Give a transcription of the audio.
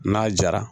N'a jara